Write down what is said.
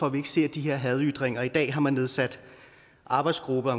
at vi ikke ser de her hadytringer i dag har man også nedsat arbejdsgrupper